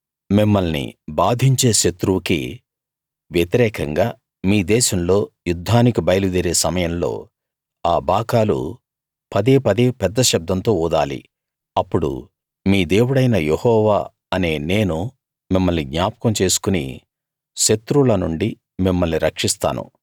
మిమ్మల్ని బాధించే శత్రువుకి వ్యతిరేకంగా మీ దేశంలో యుద్ధానికి బయలు దేరే సమయంలో ఆ బాకాలు పదేపదే పెద్ద శబ్దంతో ఊదాలి అప్పుడు మీ దేవుడైన యెహోవా అనే నేను మిమ్మల్ని జ్ఞాపకం చేసుకుని శత్రువుల నుండి మిమ్మల్ని రక్షిస్తాను